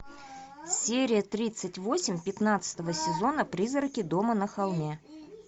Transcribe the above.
серия тридцать восемь пятнадцатого сезона призраки дома на холме